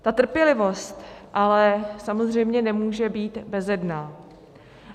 Ta trpělivost ale samozřejmě nemůže být bezedná.